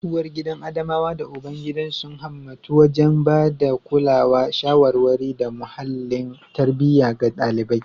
Uwargidan Adamawa da ubangidan sun himmatu wajen ba da kulawa, shawarwari, da muhallin tarbiyya ga ɗalibai.